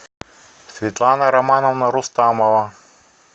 светлана романовна рустамова